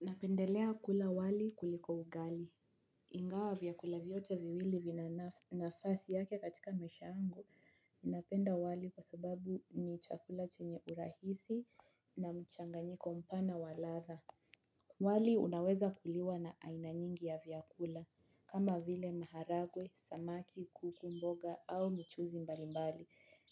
Napendelea kula wali kuliko ugali. Ingawa vyakula vyote viwili vina nafasi yake katika maisha yangu, napenda wali kwa sababu ni chakula chenye urahisi na mchanganyiko mpana wa ladha. Wali unaweza kuliwa na aina nyingi ya vyakula kama vile maharagwe, samaki, kuku mboga au mchuuzi mbalimbali